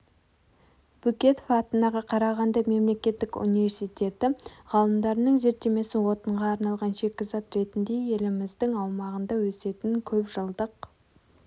бөкетов атындағы қарағанды мемлекеттік университеті ғалымдарының зерттемесі отынға арналған шикізат ретінде еліміздің аумағында өсетін көпжылдық